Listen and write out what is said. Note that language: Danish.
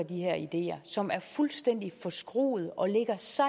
de her ideer som er fuldstændig forskruede og ligger så